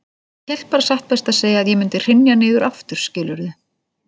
Ég hélt bara satt best að segja að ég mundi hrynja niður aftur, skilurðu.